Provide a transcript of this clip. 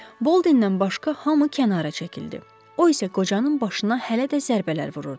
Boldendən başqa hamı kənara çəkildi, o isə qocanın başına hələ də zərbələr vururdu.